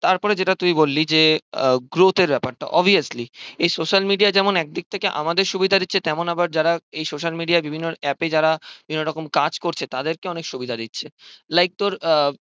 তারপর যেটা তুই বললি যে আহ growth এর ব্যাপারটা obviously এই social media একদিকথেকে যেমন আমাদের সুবিধা দিচ্ছে তেমন আবার যারা এই social media বিভিন্ন app এ যারা বিভিন্ন রকম কাজ করছে তাদেরকে অনেক সুবিধা দিচ্ছে like তোর